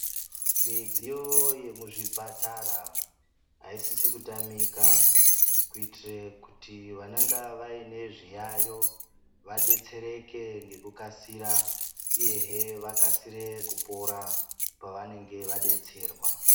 Midziyo yemuzvipatara aisisi kutamika kuitire kuti vanonga vaine zviyaiyo vadetsere ngekukasira uyezve vakasire kupora pavanenge vadetserwa .